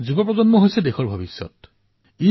যুৱচাম হল দেশৰ ভৱিষ্যত